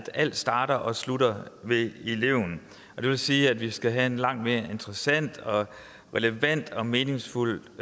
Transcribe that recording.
alt starter og slutter med eleven det vil sige at vi skal have en langt mere interessant relevant og meningsfuld